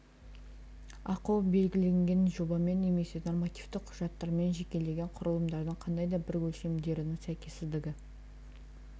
ақау белгіленген жобамен немесе нормативтік құжаттармен жекелеген құрылымдардың қандай да бір өлшемдерінің сәйкессіздігі